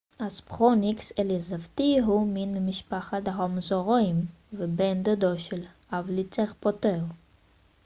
הספרוניקס אליזבתי הוא מין ממשפחת הדרומאוזאוריים ובן דודו של הוולוצירפטור